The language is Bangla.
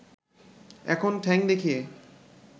এখন ঠ্যাং দেখিয়ে